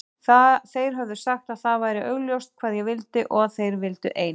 Þeir höfðu sagt að það væri augljóst hvað ég vildi og að þeir vildu ein